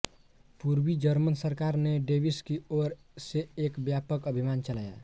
पूर्वी जर्मन सरकार ने डेविस की ओर से एक व्यापक अभियान चलाया